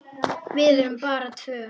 Við erum bara tvö.